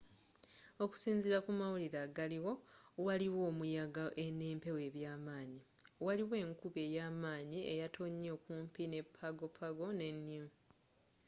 okusinzila ku mawulire agaliwo waliwo omuyaga n'empewo ebyamanyi waliwo enkuba eyamanyi eyatonye okumpi ne pago pago ne niue